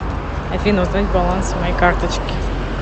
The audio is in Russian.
афина узнать баланс моей карточки